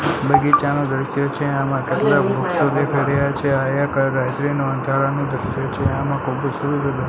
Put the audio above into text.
બગીચા નું દ્રશ્ય છે આમાં કેટલા વૃક્ષો દેખાય રહ્યા છે અહ્યા અંધારાનું દ્રશ્ય છે આમાં --